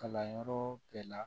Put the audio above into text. Kalanyɔrɔ bɛɛ la